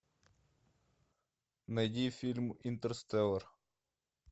найди фильм интерстеллар